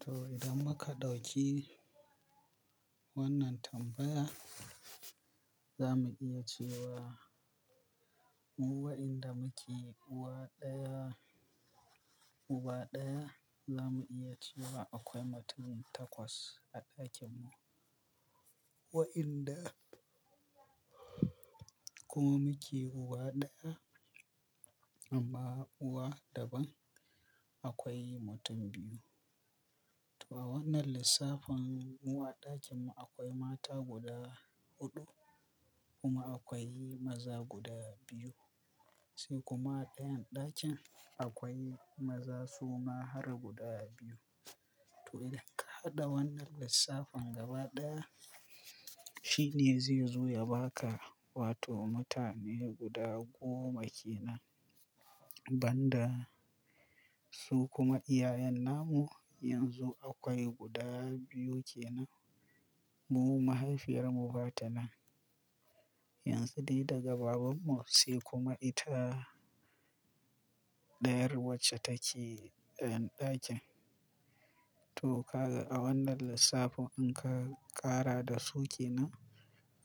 To idan muka ɗauki wannan tambaya, za mu iya cewa mu wa'inda muke uwa ɗaya, uba ɗaya, za mu iya cewa akwai mutum takwas a ɗakin mu. Wa'inda kuma muke uwa ɗaya amma uwa daban, akwai mutum biyu. To a wannan lissafin mu a ɗakin mu akwai mata guda huɗu kuma akwai maza guda biyu. Sai kuma a ɗayan ɗakin akwai maza suma har guda biyu. To idan ka haɗa wannan lissafin gaba ɗaya, shine zai zo ya ba ka wato mutane guda goma kenan. Banda su kuma iyayen namu yanzu akwai guda biyu kenan. Mu mahaifiyar mu ba ta nan, yanzu dai daga babanmu sai kuma ita ɗayar wacce take a ɗayan ɗakin. To kaga a wannan lissafin in ka ƙara da su kenan,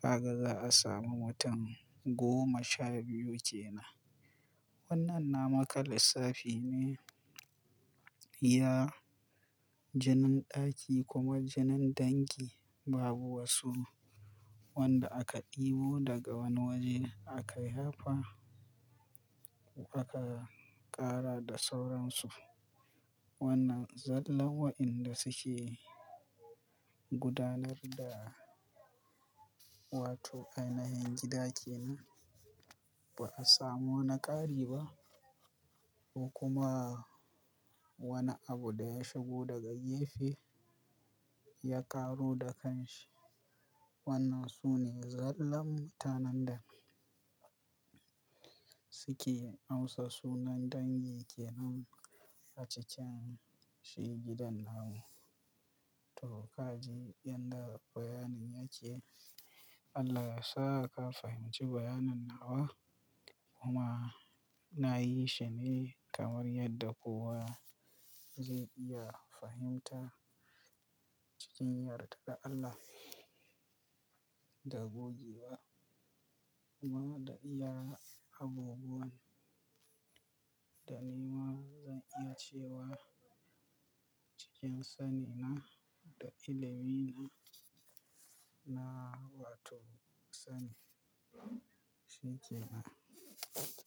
haka za a samu mutum goma sha biyu kenan. Wannan na maka lissafi ne iya jinin ɗaki kuma jinin dangi babu wasu wanda aka ɗebo daga wani waje aka haifa aka ƙara da sauransu. Wannan zallah wa'inda suke gudanar da wato ainahin gida kenan. Ba a samu wani ƙari ba ko kuma wani abu da ya shigo daga gefe ya ƙaru da kanshi. Wannan su ne zallar mutanen da suke amsa sunan dangi kenan a cikan shi gidan namu. To kaji yadda bayanin yake, Allah ya sa ka fahimci bayanan nawa kuma na yi shi ne kamar yadda kowa zai iya fahimta cikin yardar Allah da gogewa kuma da iya abubuwan. Da ni ma zan iya cewa cikin sani na da ilimi na, na wato sanin shi ke nan.